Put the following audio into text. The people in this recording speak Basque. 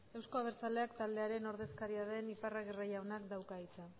euzko abertzaleak taldearen ordezkaria den iparragirre jaunak dauka hitza